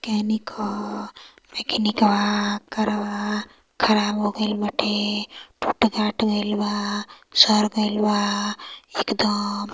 mechanic ह मकेनिकवा करवा खराब होगईल बाटे फुट फाट गईल बा सड़ गईल बा एकदम |